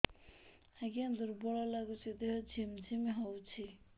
ଆଜ୍ଞା ଦୁର୍ବଳ ଲାଗୁଚି ଦେହ ଝିମଝିମ ହଉଛି